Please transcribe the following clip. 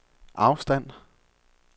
afstand